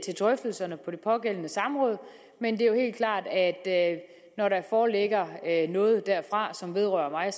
drøftelserne på det pågældende samråd men det er jo helt klart at når der foreligger noget derfra som vedrører mig